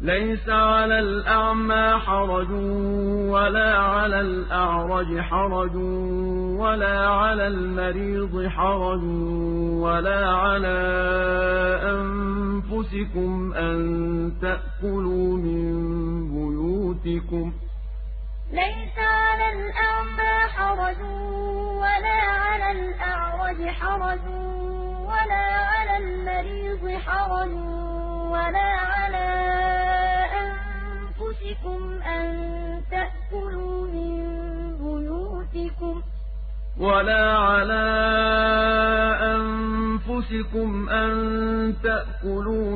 لَّيْسَ عَلَى الْأَعْمَىٰ حَرَجٌ وَلَا عَلَى الْأَعْرَجِ حَرَجٌ وَلَا عَلَى الْمَرِيضِ حَرَجٌ وَلَا عَلَىٰ أَنفُسِكُمْ أَن تَأْكُلُوا